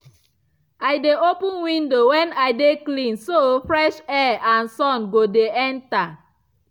i dey open window when i dey clean so fresh air and sun go dey enter.